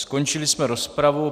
Skončili jsme rozpravu.